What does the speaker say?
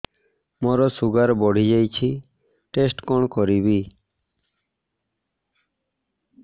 ମୋର ଶୁଗାର ବଢିଯାଇଛି ଟେଷ୍ଟ କଣ କରିବି